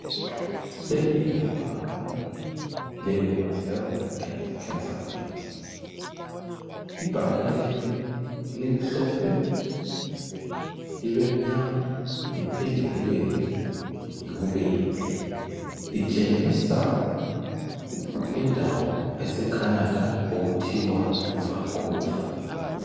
Leli libhakane le women health and cancer awareness. Ibhakane leli limhlophe libe mnyama liphinde libe yibubende litshengisa indawo ese Canada okuthwa yi Vancouver.